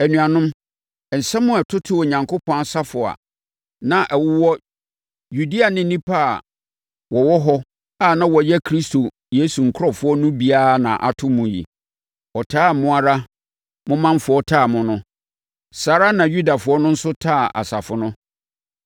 Anuanom, nsɛm a ɛtotoo Onyankopɔn asafo a na ɛwowɔ Yudea ne nnipa a wɔwɔ hɔ a na wɔyɛ Kristo Yesu nkurɔfoɔ no bi ara na ato mo yi. Ɔtaa a mo ara mo manfoɔ taa mo no, saa ara na Yudafoɔ no nso taa asafo no.